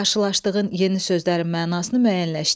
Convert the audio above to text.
Qarşılaşdığın yeni sözlərin mənasını müəyyənləşdir.